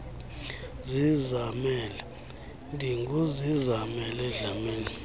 zizamele ndinguzizamele dlamini